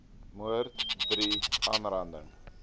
moord iii aanranding